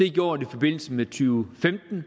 gjort i forbindelse med tyve